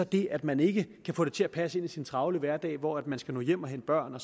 det at man ikke kan få det til at passe ind i sin travle hverdag hvor man skal nå hjem og hente børn